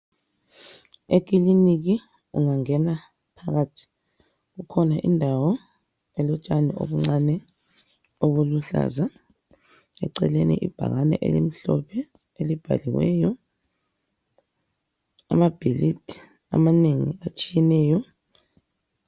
Ekiliniki ungangena phakathi kukhona indawo elotshani obuncane obuluhlaza, eceleni ibhakane elimhlophe elibhaliweyo, amabhilidi amanengi atshiyeneyo.